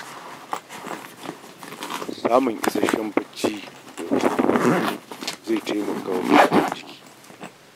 Samun isasshen hutu da bacci zai taimaka wa garkuwar jikinka.